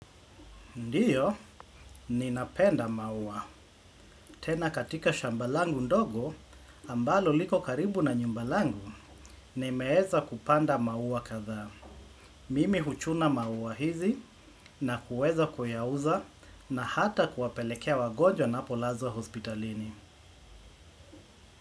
Ndiyo, ninapenda maua. Tena katika shamba langu ndogo, ambalo liko karibu na nyumba langu, nimeweza kupanda maua kadhaa. Mimi huchuna maua hizi na kuweza kuyauza na hata kuwapelekea wagonjwa wanapolazwa hospitalini.